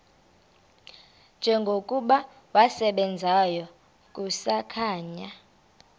njengokuba wasebenzayo kusakhanya